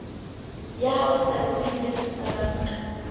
ya hao setatementeng sa banka